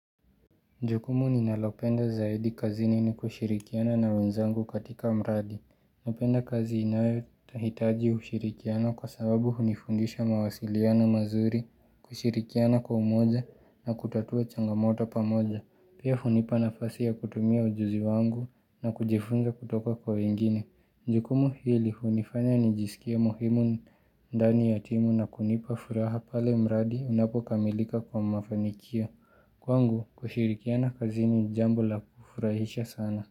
Jukumu ninalopenda zaidi kazini ni kushirikiana na wenzangu katika mradi. Napenda kazi inayohitaji ushirikiana kwa sababu hunifundisha mawasiliank mazuri, kushirikiana kwa umoja na kutatua changamoto pamoja. Pia hunipa nafasi ya kutumia ujuzi wangu na kujifunza kutoka kwa wengine. Jukumu hili hunifanya nijisikie muhimu ndani ya timu na kunipa furaha pale mradi unapokamilika kwa mafanikio. Kwangu kushirikia kwa kazini ni jambo la kufurahisha sana.